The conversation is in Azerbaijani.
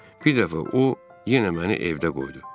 Bir dəfə o yenə məni evdə qoydu.